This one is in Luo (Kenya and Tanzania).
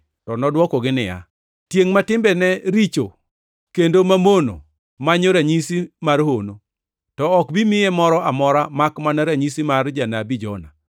To nodwokogi niya, “Tiengʼ ma timbene richo kendo mamono manyo ranyisi mar hono! To ok bi miye moro amora makmana ranyisi mar janabi Jona.